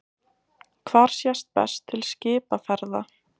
Hvar sést best til skipaferða?